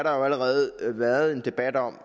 allerede været en debat om